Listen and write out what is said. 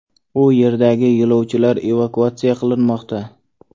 U yerdagi yo‘lovchilar evakuatsiya qilinmoqda.